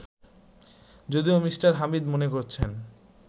যদিও মিঃ হামিদ মনে করছেন